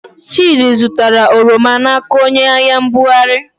Chịdị zụtara oroma n'aka onyeahịambugharị.